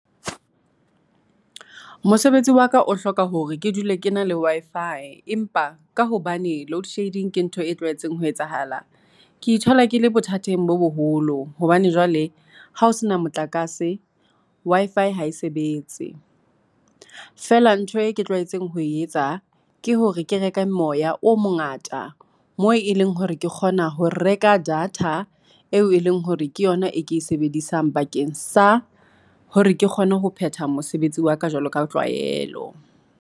Mosebetsi wa ka o hloka hore ke dule ke na le Wi-Fi, empa ka hobane load shedding ke ntho e ho etsahala, ke ithola ke le bothateng bo boholo, hobane jwale hao sena motlakase Wi-Fi ha e sebetse. Fela ntho e ke tlwaetseng ho etsa ke hore ke reke moya o mongata, moo e leng hore ke kgona ho reka data eo e leng hore ke yona e ke e sebedisang, bakeng sa hore ke kgone ho phetha mosebetsi wa ka, jwalo ka tlwaelo.